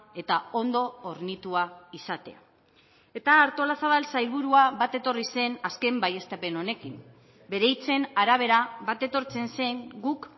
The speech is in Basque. eta ondo hornitua izatea eta artolazabal sailburua bat etorri zen azken baieztapen honekin bere hitzen arabera bat etortzen zen guk